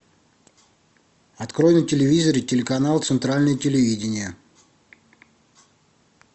открой на телевизоре телеканал центральное телевидение